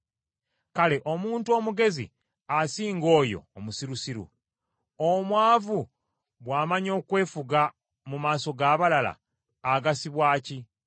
Kale omuntu omugezi asinga oyo omusirusiru? Omwavu bw’amanya okwefuga mu maaso g’abalala, agasibwa ki?